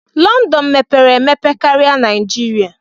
London mepere emepe karia Naijiria.